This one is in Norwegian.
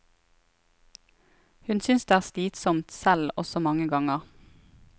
Hun synes det er slitsomt selv også mange ganger.